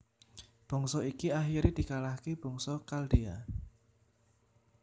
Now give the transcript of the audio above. Bangsa iki akhire dikalahke bangsa Khaldea